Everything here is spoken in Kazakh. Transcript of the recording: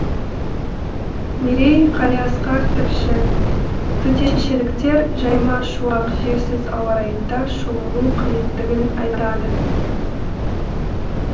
мерей қалиасқар тілші төтеншеліктер жайма шуақ желсіз ауа райында шомылу қажеттігін айтады